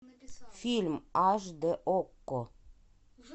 фильм аш д окко